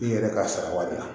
I yɛrɛ k'a sara waati la